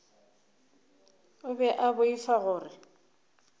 o be a boifa gore